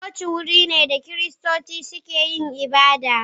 coci wuri ne da kiristoci suke yin ibada..